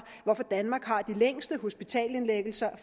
hvorfor danmark har de længste hospitalsindlæggelser i